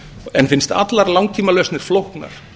en finnst allar langtímalausnir flóknar